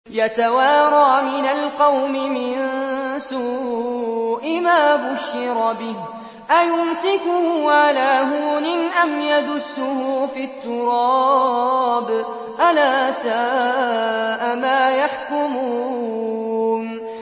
يَتَوَارَىٰ مِنَ الْقَوْمِ مِن سُوءِ مَا بُشِّرَ بِهِ ۚ أَيُمْسِكُهُ عَلَىٰ هُونٍ أَمْ يَدُسُّهُ فِي التُّرَابِ ۗ أَلَا سَاءَ مَا يَحْكُمُونَ